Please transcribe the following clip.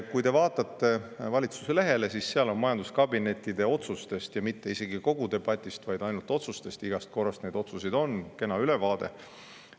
Kui te vaatate valitsuse lehele, siis seal on majanduskabinettide otsustest – mitte isegi kogu debatist, vaid ainult otsustest, ja igast korrast neid otsuseid on – kena ülevaade.